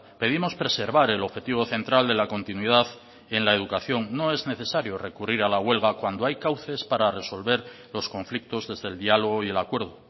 pedimos preservar el objetivo central de la continuidad en la educación no es necesario recurrir a la huelga cuando hay cauces para resolver los conflictos desde el diálogo y el acuerdo